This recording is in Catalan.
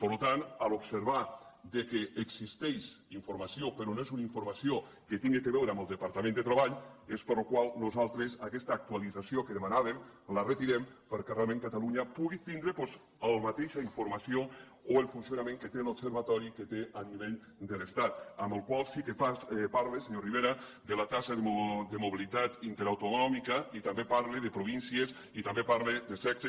per tant en observar que existeix informació però no és una informació que tingui a veure amb el departament de treball nosaltres aquesta actualització que demanàvem la retirem perquè realment catalunya pugui tindre doncs la mateixa informació o el funcionament que té l’observatori a nivell de l’estat el qual sí que parle senyor rivera de la taxa de mobilitat interautonòmica i també parle de províncies i també parle de sexe